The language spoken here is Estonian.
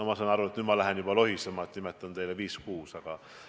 Ma saan aru, et mu jutt kipub juba lohisema, kui nimetan teile viis-kuus väljakutset.